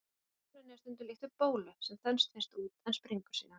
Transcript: Hækkuninni er stundum líkt við bólu, sem þenst fyrst út en springur síðan.